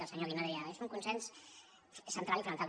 el senyor guinó deia és un consens central i fonamental